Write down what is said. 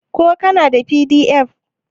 ko kana da pdf?